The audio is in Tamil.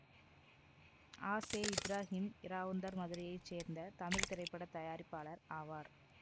அ செ இப்ராகிம் இராவுந்தர் மதுரையை சேர்ந்த தமிழ் திரைப்பட தயாரிப்பாளர் ஆவார்